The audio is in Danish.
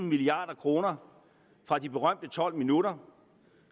milliard kroner fra de berømte tolv minutter